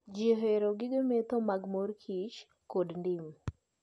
Jii ohero gige medho mag mor kich kod ndim